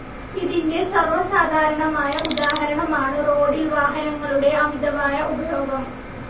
ഇതിന്റെ സർവസാധാരണമായ ഉദാഹരണമാണു റോഡിൽ വാഹനങ്ങളുടെ അമിതമായ ഉപയോഗം.